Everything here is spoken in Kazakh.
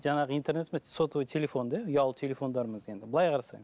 жаңағы интернет емес сотовый телофон да ұялы телофондарымыз енді былай қарасаңыз